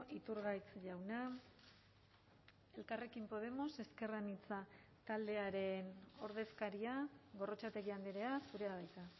iturgaiz jauna elkarrekin podemos ezker anitza taldearen ordezkaria gorrotxategi andrea zurea da hitza